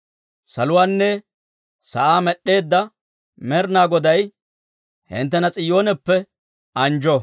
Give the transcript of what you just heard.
Saluwaanne sa'aa med'd'eedda Med'inaa Goday, hinttena S'iyooneppe anjjo.